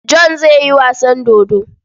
John zai yi wasan dodo.